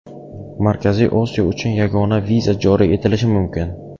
Markaziy Osiyo uchun yagona viza joriy etilishi mumkin.